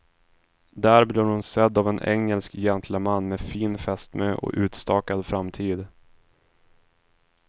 Där blir hon sedd av en engelsk gentleman med fin fästmö och utstakad framtid.